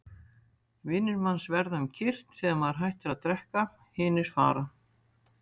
Vinir manns verða um kyrrt þegar maður hættir að drekka, hinir fara.